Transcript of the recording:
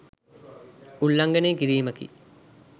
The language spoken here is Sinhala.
උල්ලංඝනය කිරීමකි.